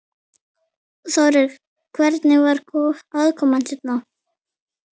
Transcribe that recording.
Þórir: Hvernig var aðkoman hérna?